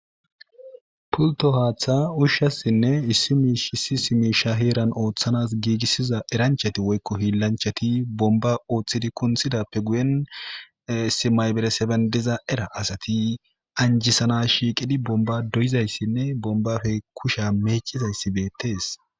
pulto haaththa ushshassinne issi miish issi miisha heeran ooththanas giigissiza eranchati woykko hiilanchati bomba ooththidi kunthidappe guyen isi maybereseben diza era asati anjisana shiiqidi bomba doyizayssinne bombafe kusha meecizayssi beettees